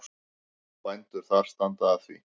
Bændur þar standa að því.